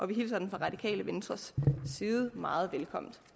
vi hilser den fra radikale venstres side meget velkommen